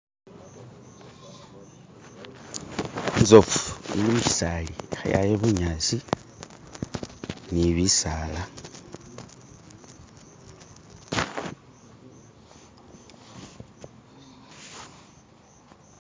izofu eli mukisaali keyaya bunyaasi ni bisaala.